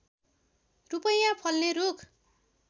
रूपैयाँ फल्ने रूख